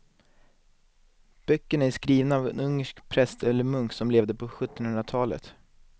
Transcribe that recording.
Böckerna är skrivna av en ungersk präst eller munk som levde på sjuttonhundratalet.